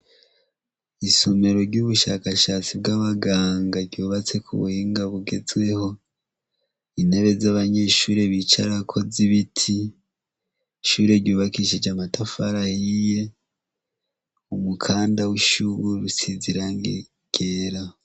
Isomero ryubushakashatsi bwabaganga ryubatswe kubuhinga bugezweho intebe zabanyeshure bicarako z'ibiti ishure ryubakishije amatafari ahiye, umukanda wishure usize irangi ryera.